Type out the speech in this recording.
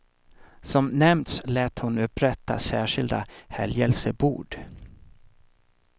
Som nämnts lät hon upprätta särskilda helgelsebord.